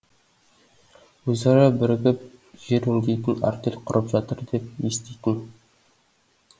өзара бірігіп жер өңдейтін артель құрып жатыр деп еститін